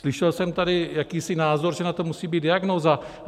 Slyšel jsem tady jakýsi názor, že na to musí být diagnóza.